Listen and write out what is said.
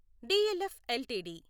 DLF LTD